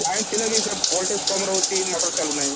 line ଥିଲେ ବି ସେ voltage କମ ରହୁଛି motor ଚାଲୁ ନାହିଁ